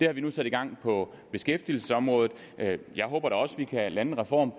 har vi nu sat i gang på beskæftigelsesområdet jeg håber da også at vi kan lande en reform